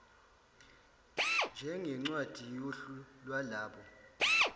njengencwadi yohlu lwalabo